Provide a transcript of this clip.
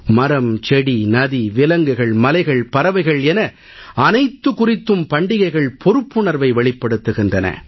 மரம் செடி நதி விலங்குகள் மலைகள் பறவைகள் என அனைத்து குறித்தும் பண்டிகைகள் பொறுப்புணர்வை வெளிப்படுத்துகின்றன